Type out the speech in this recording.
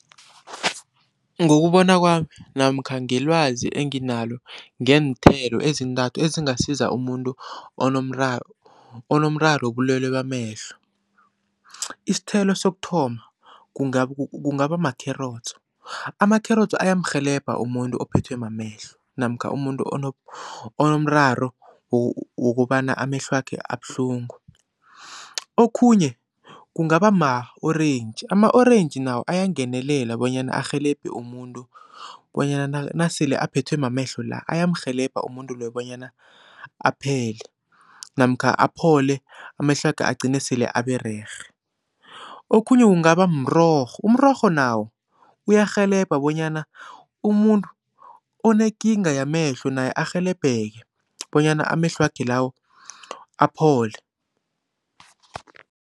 Ngokubona kwami namkha ngelwazi enginalo ngeenthelo ezintathu ezingasiza umuntu onomraro wobulwelwe bamehlo. Isithelo sokuthoma kungaba makherotso, amakherotso ayamrhelebha umuntu ophethwe mamehlo namkha umuntu onomraro wokobana amehlwakhe abuhlungu. Okhunye kungaba ma-orentji, ama-orentji nawo ayangenelela bonyana arhelebhe umuntu bonyana nasele aphethwe mamehlo la ayamrhelebha umuntu loyo bonyana aphele namkha aphole amehlwakhe agcine asele abererhe. Okhunye kungaba mrorho, umrorho nawo uyarhelebha bonyana umuntu onekinga yamehlo naye arhelebheke bonyana amehlwakhe lawo aphole.